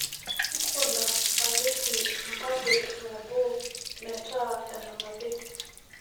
nkuna spageti epakit nabo meeta enanapi